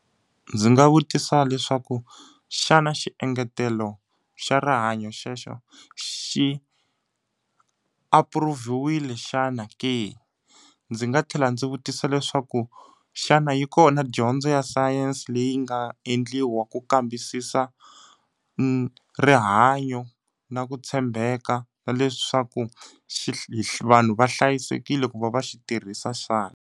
Ndzi nga vutisa leswaku xana xiengetelo xa rihanyo xexo xi apuruvhiwile xana ke? Ndzi nga tlhela ndzi vutisa leswaku xana yi kona dyondzo xi ya science leyi nga endliwa ku kambisisa rihanyo na ku tshembeka na leswaku vanhu va hlayisekile ku va va xi tirhisa xana?